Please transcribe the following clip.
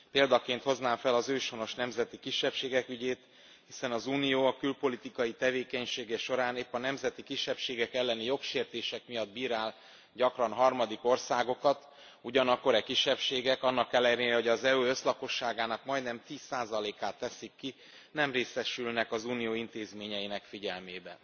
Példaként hoznám fel az őshonos nemzeti kisebbségek ügyét, hiszen az Unió a külpolitikai tevékenysége során épp a nemzeti kisebbségek elleni jogsértések miatt bírál gyakran harmadik országokat, ugyanakkor e kisebbségek annak ellenére, hogy az EU összlakosságának majdnem 10 át teszik ki, nem részesülnek az Unió intézményeinek figyelmében.